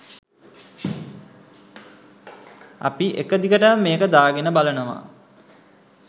අපි එක දිගටම මේක දාගෙන බලනවා